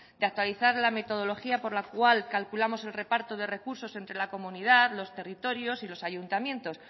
de actualizar la metodología por la cual calculamos el reparto de recursos entre la comunidad los territorios y los ayuntamientos